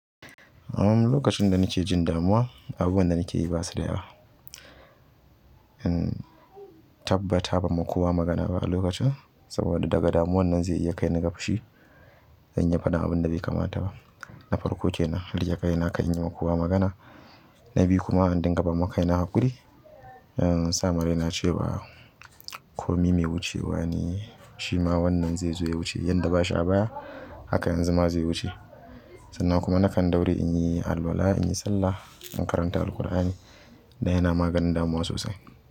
Uhmm lokacin da nake jin damuwa, abubuwan da nake yi ba su da yawa. In tabbata ban ma kowa magana ba a lokacin, saboda daga damuwa nan zai iya kai ni ga fushi in yi faɗan abin da bai kamata ba. Nafarko kenan riƙe kaina kar in yi wa kowa magana na biyu kuma in dinga bama kaina haƙuri. In sama rai na ce wa komai mai wucewa ne, shi ma wannan zai zo ya wuce yadda ba shi a baya haka yanzu ma zai wuce. Sannan kuma nakan ɗaure in yi alwala, in yi sallah, in karanta Alqur'ani da yana maganin damuwa sosai.